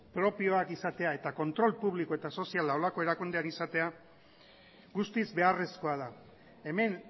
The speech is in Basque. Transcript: propioak izatea eta kontrol publiko eta soziala holako erakundean izatea guztiz beharrezkoa da hemen